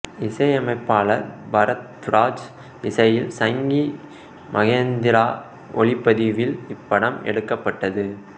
இசையமைப்பாளர் பரத்வாஜ் இசையில் சங்கி மகேந்திரா ஒளிப்பதிவில் இப்படம் எடுக்கப்பட்டது